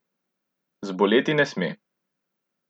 Zboleti ne sme.